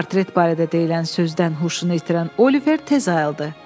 Portret barədə deyilən sözdən huşunu itirən Oliver tez ayıldı.